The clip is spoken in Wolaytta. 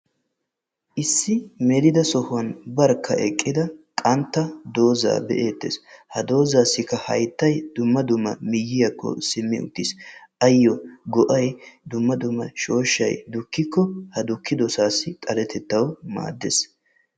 Issi melida sohuwan barkka eqqida dooza be'eetees, ha doozassi hayttay dumma dumma miyiyyakko simmi uttiis. ayo ha dozzassi go''ay shooshshay dukkiko xaletattaw maaddees.